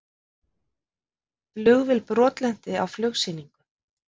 Flugvél brotlenti á flugsýningu